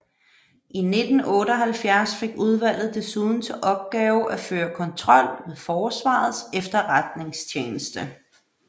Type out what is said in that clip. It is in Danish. I 1978 fik udvalget desuden til opgave at føre kontrol med Forsvarets Efterretningstjeneste